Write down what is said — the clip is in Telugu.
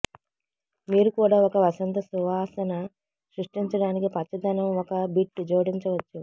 మీరు కూడా ఒక వసంత సువాసన సృష్టించడానికి పచ్చదనం ఒక బిట్ జోడించవచ్చు